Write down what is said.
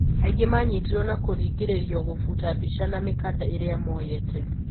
Angi manyitirwo na kũringiririo gũbuta mbica na mikanda iroa moyete.